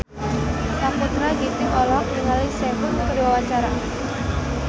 Sakutra Ginting olohok ningali Sehun keur diwawancara